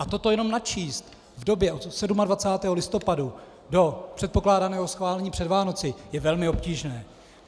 A toto jenom načíst v době od 27. listopadu do předpokládaného schválení před Vánoci je velmi obtížné.